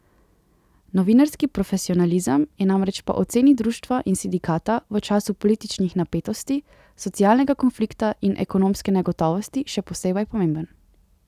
Novinarski profesionalizem je namreč po oceni društva in sindikata v času političnih napetosti, socialnega konflikta in ekonomske negotovosti še posebej pomemben.